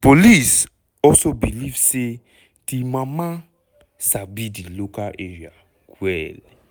police also believe say di mama sabi di local area well.